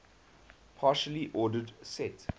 partially ordered set